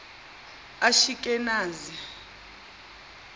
ashikenaze